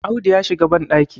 Audu ya shiga bandaki